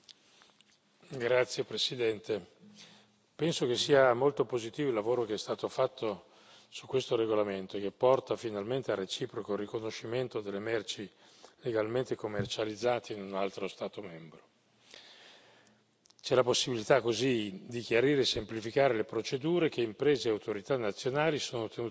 Signora Presidente, onorevoli colleghi, penso che sia molto positivo il lavoro che è stato fatto su questo regolamento, che porta finalmente al reciproco riconoscimento delle merci legalmente commercializzate in un altro Stato membro. C'è la possibilità così di chiarire e semplificare le procedure che imprese e autorità nazionali sono tenute a seguire,